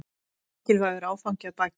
Mikilvægur áfangi að baki